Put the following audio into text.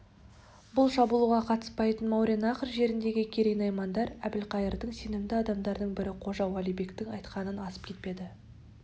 бұл шабуылға қатыспайтын мауреннахр жеріндегі керей наймандар әбілқайырдың сенімді адамдарының бірі қожа-уали бектің айтқанынан асып кетпеді